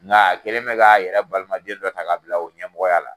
Nka a kɛlen bɛ ka a yɛrɛ balima den dɔ ta ka bila o ɲɛmɔgɔya la.